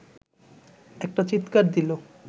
একটা চিৎকার দিল